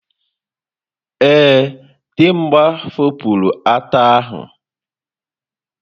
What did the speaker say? Ee, Dimgba fopụrụ ata ahu.